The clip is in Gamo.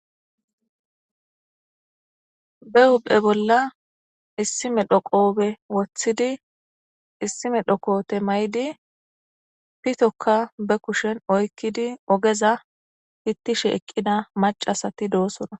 Be hubphe bolla issime dhoqohube woththidi issime dhoqote may7di pitokka be kushen oykkidi ogeza hittishe eqqida macasati doosona.